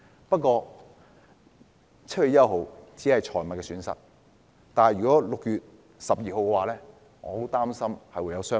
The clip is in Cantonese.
不過 ，7 月1日只是損失財物 ，6 月12日卻可能會發生傷亡。